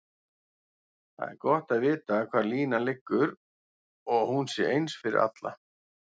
Það er gott að vita hvar línan liggur og hún sé eins fyrir alla.